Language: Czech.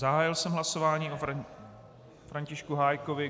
Zahájil jsem hlasování o Františku Hájkovi.